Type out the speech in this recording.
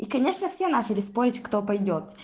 и конечно все начали спорить кто пойдёт